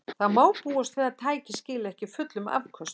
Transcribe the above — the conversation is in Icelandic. Þó má búast við að tækið skili ekki fullum afköstum.